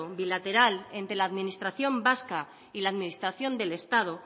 bilateral entre la administración vasca y la administración del estado